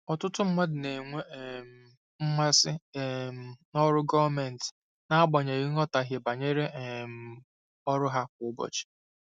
Ọtụtụ mmadụ na-enwe um mmasị um n'ọrụ gọọmentị n'agbanyeghị nghọtahie banyere um ọrụ ha kwa ụbọchị.